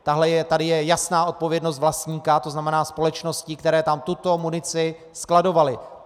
Tady je jasná odpovědnost vlastníka, to znamená společností, které tam tuto munici skladovaly.